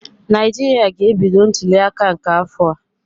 Naijiria ga-ebido ntuliaka nke afọ a.